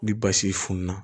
Ni basi funna